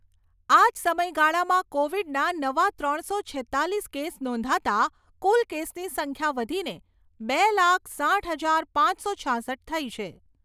આ જ સમયગાળામાં કોવિડના નવા ત્રણસો છેત્તાલીસ કેસ નોંધાતાં કુલ કેસની સંખ્યા વધીને બે લાખ, સાઈઠ હજાર પાંચસો છાસઠ થઈ છે.